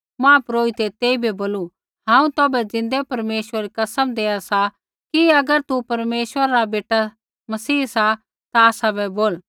महापुरोहितै तेइबै बोलू हांऊँ तौभै ज़िन्दै परमेश्वरै री कसम देआ सा कि अगर तू परमेश्वरा रा बेटा मसीह सा ता आसाबै बोल